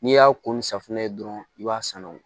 N'i y'a ko ni safunɛ ye dɔrɔn i b'a sanuya